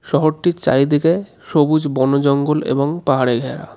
শহরটির চারিদিকে সবুজ বনজঙ্গল এবং পাহাড়ে ঘেরা.